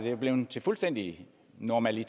er blevet fuldstændig normalt i